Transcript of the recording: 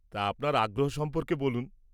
তা আপনার আগ্রহ সম্পর্কে বলুন।